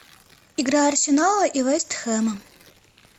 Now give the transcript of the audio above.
игра арсенала и вест хэма